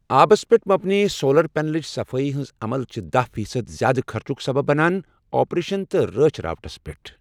آبَس پٮ۪ٹھ مبنی سولر پینلٕچ صفٲیی ہٕنٛز عمل چھ دہَ فیصد زیادٕ خرچُک سَبَب بنان آپریشن تہٕ رٲچھ راوٹَس پیٹھ۔